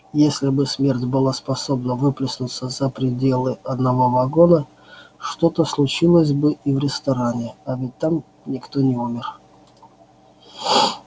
если бы смерть была способна выплеснуться за пределы одного вагона что-то случилось бы и в ресторане а ведь там никто не умер